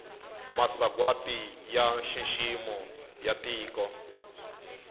masagwati ya nxiximo ya tiko